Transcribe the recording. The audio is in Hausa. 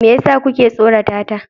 Me yasa kuke tsorata ta?